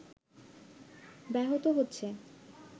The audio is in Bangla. ব্যাহত হচ্ছে